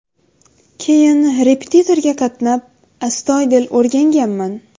Keyin repetitorga qatnab, astoydil o‘rganganman.